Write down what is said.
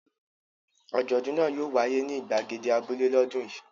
Àjọ̀dún náà yóò wáyé ní ìgbàgede abúlé lọ́dún yìí.